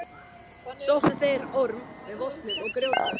Sóttu þeir Orm með vopnum og grjótkasti.